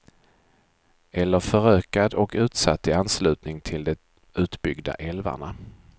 Eller förökad och utsatt i anslutning till de utbyggda älvarna.